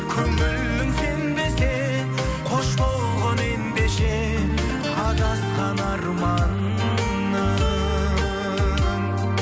көңілің сенбесе қош болғың ендеше адасқан арманым